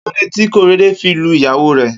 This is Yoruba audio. Kilódé ti Korede fi n lú iyàwó rè?